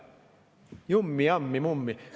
Jummi, jammi, mummi!